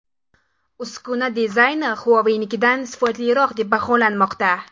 Uskuna dizayni Huawei’nikidan sifatliroq deb baholanmoqda.